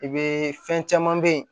I be fɛn caman be yen